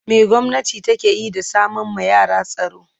me gwamnati takeyi da sama ma yara tsaro